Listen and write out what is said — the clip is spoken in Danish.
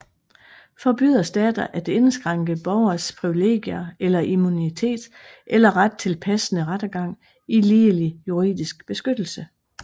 Forbyder stater at indskrænke borgeres privilegier eller immunitet eller ret til passende rettergang og ligelig juridisk beskyttelse